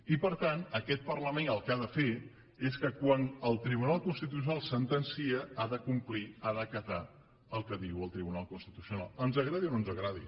i per tant aquest parlament el que ha de fer és que quan el tribunal constitucional sentencia ha de complir ha d’acatar el que diu el tribunal constitucional ens agradi o no ens agradi